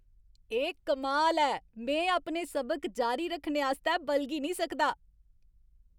एह् कमाल ऐ! में अपने सबक जारी रक्खने आस्तै बलगी नेईं सकदा।